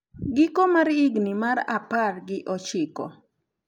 giko mar higni mar apar gi ochiko